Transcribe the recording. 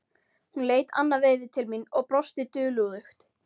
Hún leit annað veifið til mín og brosti dulúðugt.